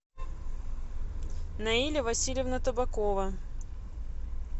наиля васильевна табакова